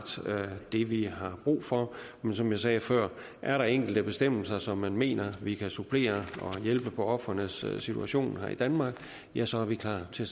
det vi har brug for men som jeg sagde før er der enkelte bestemmelser som man mener vi kan supplere for at hjælpe på ofrenes situation her i danmark ja så er vi klar til